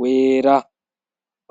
wera.